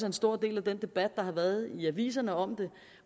en stor del af den debat der har været i aviserne om det